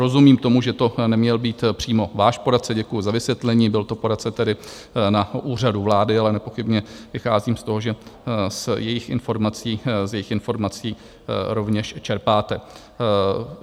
Rozumím tomu, že to neměl být přímo váš poradce, děkuji za vysvětlení, byl to poradce tedy na Úřadu vlády, ale nepochybně vycházím z toho, že z jejich informací rovněž čerpáte.